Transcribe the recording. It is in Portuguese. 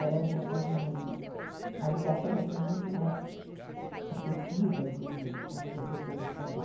Era uma uma uma ligação assim, muito mais afetiva, inclusive, com os professores também.